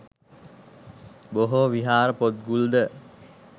බොහෝ විහාර පොත්ගුල්ද